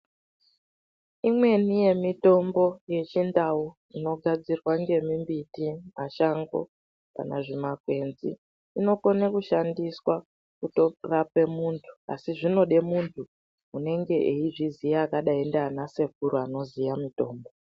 Imweni yemitombo yechindau inogadzirwa ngemimiti mashango kana zvimakwenzi inokone kushandiswa kurape muntu asi zvinode muntu unenge weizviziya zvakadai nanasekuru anoziye mitombo .